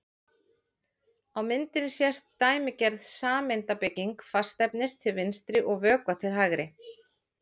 Á myndinni sést dæmigerð sameindabygging fastefnis til vinstri og vökva til hægri.